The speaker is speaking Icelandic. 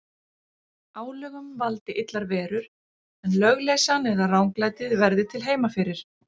Álögum valdi illar verur, en lögleysan eða ranglætið verði til heima fyrir.